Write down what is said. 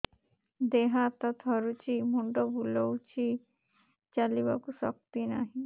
ଦେହ ହାତ ଥରୁଛି ମୁଣ୍ଡ ବୁଲଉଛି ଚାଲିବାକୁ ଶକ୍ତି ନାହିଁ